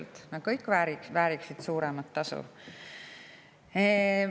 Loomulikult vääriksid nad kõik suuremat tasu.